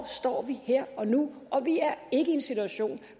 står her og nu og vi er ikke i en situation